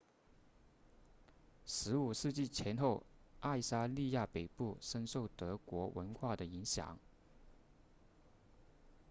15世纪前后爱沙尼亚北部深受德国文化的影响